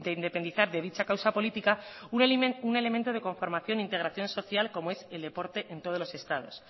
independizar de dicha causa política un elemento de conformación integración social como es el deporte en todos los estados